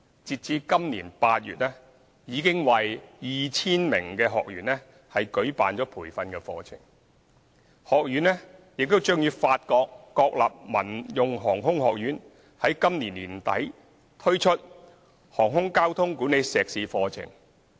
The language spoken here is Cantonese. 截至今年8月，已為 2,000 名學員舉辦培訓課程。學院將與法國國立民用航空學院於今年年底推出航空交通管理碩士課程。